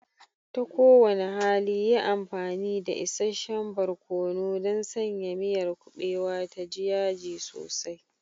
Ta kowane hali, yi amfani da isasshen barkono don sanya miyar kuɓewar ta ji yaji sosai.